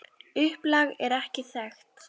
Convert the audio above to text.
Upplag er ekki þekkt.